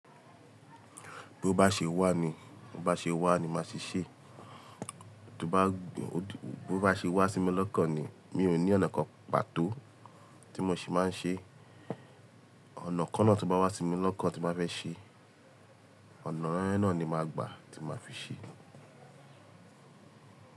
Bí ó bá ṣe wà ni, bó bá ṣe wà ni máa ṣe ṣe. Tó bá, bó bá ṣe wá sí mi lọ́kàn ni, mi ò ní ọ̀nà kan pàtó tí mò ṣì máa ń ṣe. Ọ̀nà kan náà tó bá wá sí mi lọ́kàn tí ń bà fẹ́ ṣe, ọ̀nà yen náà ni màá gbà tí màá fi ṣe.